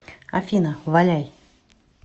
афина валяй